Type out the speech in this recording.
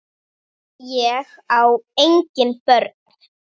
Ég á engin börn!